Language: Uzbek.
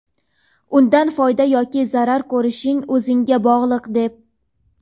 undan foyda yoki zarar ko‘rishing o‘zingga bog‘liq deb.